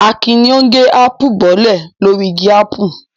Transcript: Akin ni ó ń gé ápù bọ́lẹ̀ lórí igi ápù.